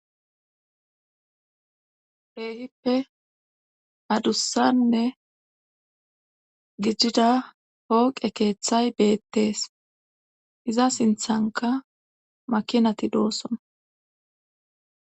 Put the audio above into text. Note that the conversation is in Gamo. Keehippe adussanne gijida hooqe keeththay beettees iza sinthanka makinati doosson